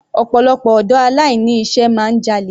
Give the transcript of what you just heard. Ọ̀pọ̀lọpọ̀ ọ̀dọ́ aláìní iṣẹ́ máa ń jalè.